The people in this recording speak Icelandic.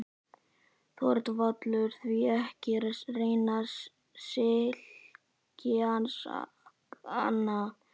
ÞORVALDUR: Því ekki að reyna silkihanskana.